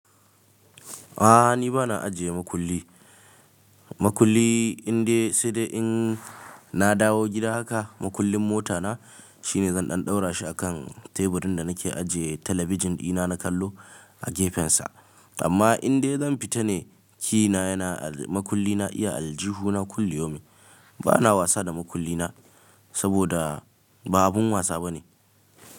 A'a ni ba na ajiye makulli. Makulli in dai sai dai in na dawo gida haka, makullin mota na shine zan ɗan ɗaura shi a kan teburin da nake ajiye talabijin dina na kallo a gefensa. Amma in dai zan fita ne, key na yana al makulli na iya aljihu na kulli yomi. Ba na wasa da makulli na saboda ba abin wasa bane.